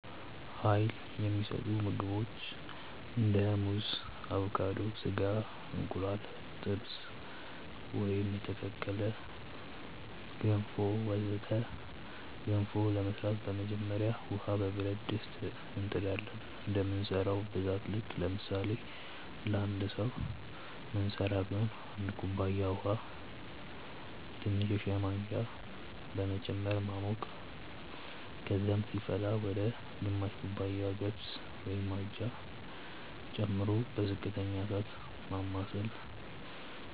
Uይል የሚሰጡ ምግቦች እንደ ሙዝ አቮካዶ፣ ስጋ፣ እንቁላል ጥብስ ወይም የተቀቀለ፣ ገንፎ ወዘተ ገንፎ ለመስራት በመጀመሪያ ውሃ በብረት ድስት እንጥ ዳለን እንደምንሰራው ብዛት ልክ ለምሳሌ ለአንድ ሰዉ ምንስራ ቢሆን 1 ኩባያ ውሃ ትንሽ የሻይ ማንኪያ በመጨመር ማሞቅ ከዛም ሲፈላ ወደ ግማሽ ኩባያ ገብስ (አጃ) ጨምሮ በዝቅተኛ እሳት ማማሰል